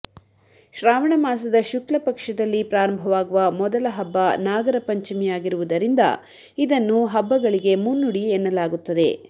ಶ್ರಾವಣ ಮಾಸದ ಶುಕ್ಲ ಪಕ್ಷದಲ್ಲಿ ಪ್ರಾರಂಭವಾಗುವ ಮೊದಲ ಹಬ್ಬ ನಾಗರ ಪಂಚಮಿಯಾಗಿರುವುದರಿಂದ ಇದನ್ನು ಹಬ್ಬಗಳಿಗೆ ಮುನ್ನುಡಿ ಎನ್ನಲಾಗುತ್ತದೆ